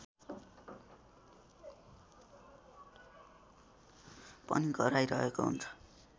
पनि गराइरहेको हुन्छ